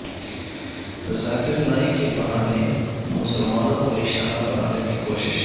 ذاکر نائک کے بہانے مسلمانوں کو نشانہ بنانے کی کوشش